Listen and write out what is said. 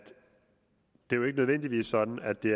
jo ikke nødvendigvis sådan at det